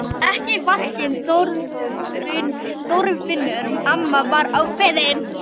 Ekki í vaskinn Þorfinnur amma var ákveðin.